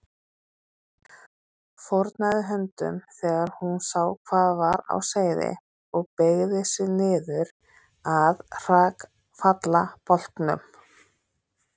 Fórnaði höndum þegar hún sá hvað var á seyði og beygði sig niður að hrakfallabálknum.